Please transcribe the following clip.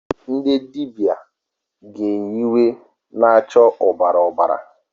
Ndị dibịa ga eyi uwe na-acha ọbara ọbara.